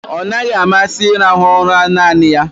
Ọ naghị amasị ịrahụ ụra naanị ya.